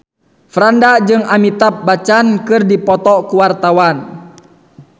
Franda jeung Amitabh Bachchan keur dipoto ku wartawan